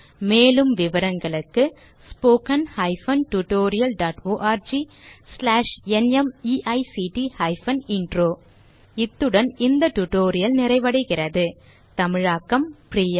மேலும் விவரங்களுக்கு 2 இத்துடன் இந்த டியூட்டோரியல் நிறைவடைகிறது தமிழாக்கம் பிரியா